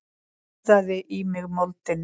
Úðað í mig moldinni.